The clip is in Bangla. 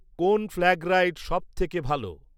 কোন ফ্ল্যাগ রাইড সবথেকে ভালো